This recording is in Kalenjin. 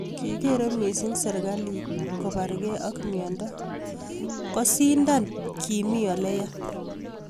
Kigeere missing serikalit koparge ak miondo ,ngoshindwan kiimii ole yaa